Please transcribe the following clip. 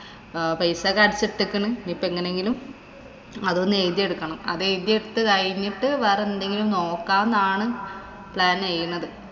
പൈസ ഒക്കെ അടച്ചിട്ടേക്കണ്. ഇനിപ്പോ എങ്ങെനെങ്കിലും അതൊന്നു എയുതി എടുക്കണം. അത് എയുതി എടുത്തു കയിഞ്ഞിട്ട്‌ വേറെ എന്തെങ്കിലും നോക്കാന്നാണ് plan ചെയ്യുന്നത്.